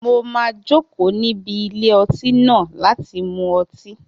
Mo máa jòkó níbi ilé ọtí náà láti mú ọtí